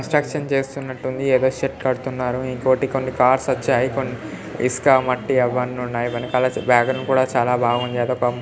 Construction చేస్తున్నట్లుంది ఏదో కడుతున్నారు .ఇంకొన్ని కార్స్ వచ్చాయి. ఇసక మట్టి అన్ని ఉన్నాయి. వెనకాల వేగన్ కూడా చాలా బాగున్నాయి. ఏదో --